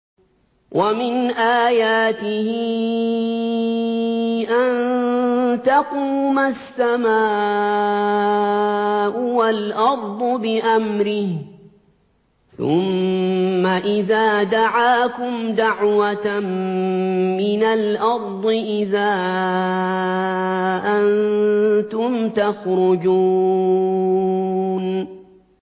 وَمِنْ آيَاتِهِ أَن تَقُومَ السَّمَاءُ وَالْأَرْضُ بِأَمْرِهِ ۚ ثُمَّ إِذَا دَعَاكُمْ دَعْوَةً مِّنَ الْأَرْضِ إِذَا أَنتُمْ تَخْرُجُونَ